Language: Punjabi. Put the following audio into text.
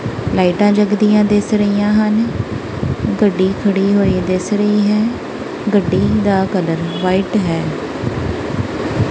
ਲਾਈਟਾਂ ਜੱਗਦੀਆਂ ਦਿਸ ਰਹੀਆਂ ਹਨ ਗੱਡੀ ਖੜੀ ਹੋਈ ਦਿਸ ਰਹੀ ਹੈ ਗੱਡੀ ਦਾ ਕਲਰ ਵਾਈਟ ਹੈ।